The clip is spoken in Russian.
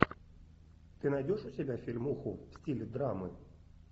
ты найдешь у себя фильмуху в стиле драмы